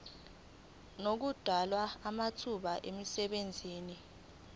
nokudalwa kwamathuba emisebenzi